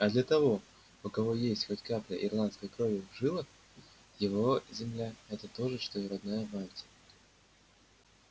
а для того у кого есть хоть капля ирландской крови в жилах его земля это то же что родная мать